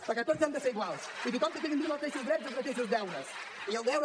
perquè tots hem de ser iguals i tothom ha de tindre els mateixos drets i els mateixos deures i hi ha el deure